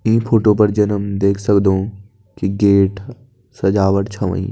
ईं फोटो पे जन हम देख सकदों की गेट सजावट छ होईं।